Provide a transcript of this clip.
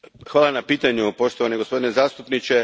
Hvala na pitanju, poštovani gospodine zastupniče.